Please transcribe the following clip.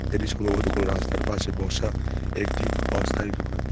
এটি সম্ভবত কোনো রাস্তার পাশে বসা একটি অস্থায়ী দোকান।